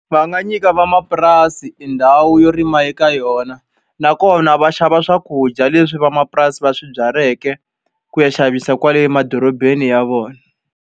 Va nga nyika van'wamapurasi i ndhawu yo rima eka yona, nakona va xava swakudya leswi van'wamapurasi va swi byaleke ku ya xavisa kwale emadorobeni ya vona.